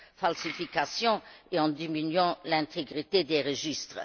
falsification et en diminuant l'intégrité des registres.